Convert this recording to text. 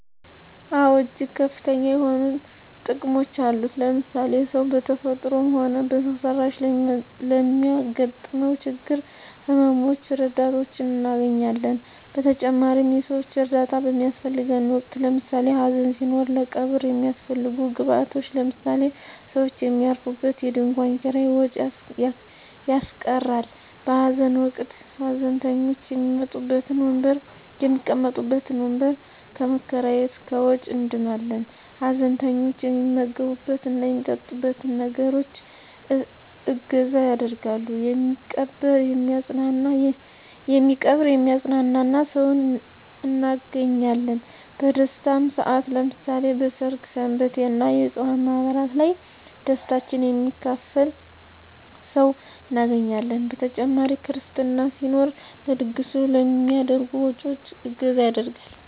አወ እጅግ ከፍተኛ የሆኑ ጥቅሞች አሉት ለምሳሌ ሰው በተፈጥሮም ሆነ በሰው ሰራሽ ለሚያገጥመው ችግሮች ህመመ ሞች ረዳቶችን እናገኛለን በተጨማሪም የሰወች እርዳታ በሚያሰፈልገን ወቅት ለምሳሌ ሀዘን ሲኖር ለቀብር የሚያሰፈልጉ ግብአቶች ለምሳሌ ሰውች የሚያርፉበት የድንኮን ኪራይ ወጭ ያስቀራል በሀዘን ወቅት ሀዘንተኞች የሚቀመጡበት ወንበር ከመከራየት ከወጭ እንድናለን ሀዘንተኞች የሚመገብት እና የሚጠጡትን ነገሮች እገዛ ያደርጋሉ የሚቀብር የሚያጵናና ሰውን እናገኛለን በደስታም ሰአት ለምሳሌ በሰርግ ሰንበቴ እና የፅዋ ማህበራት ላይ ደስታችን የሚካፈል ሰው እናገኛለን በተጨማሪ ክርስትና ሲኖር ለድግሱ ከሚደረጉ ወጭወች እገዛ ይደረጋል።